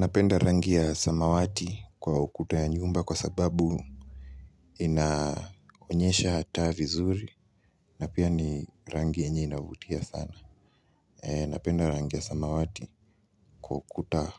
Napenda rangi ya samawati kwa ukuta ya nyumba kwa sababu inaonyesha taa vizuri na pia ni rangi yenye inavutia sana. Napenda rangi ya samawati kwa ukuta